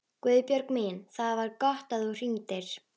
Guðbjörg mín, það var gott að þú hringdir.